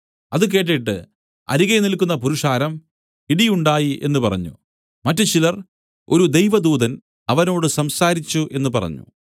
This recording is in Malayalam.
അത് കേട്ടിട്ട് അരികെ നില്ക്കുന്ന പുരുഷാരം ഇടി ഉണ്ടായി എന്നു പറഞ്ഞു മറ്റുചിലർ ഒരു ദൈവദൂതൻ അവനോട് സംസാരിച്ചു എന്നു പറഞ്ഞു